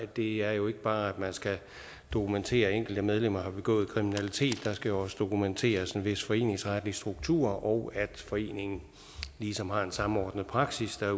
det er jo ikke bare sådan at man skal dokumentere at enkelte medlemmer har begået kriminalitet der skal også dokumenteres en vis foreningsretlig struktur og at foreningen ligesom har en samordnet praksis der